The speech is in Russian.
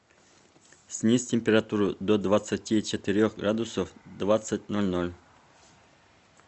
снизь температуру до двадцати четырех градусов в двадцать ноль ноль